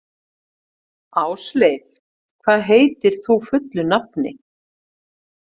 Ásleif, hvað heitir þú fullu nafni?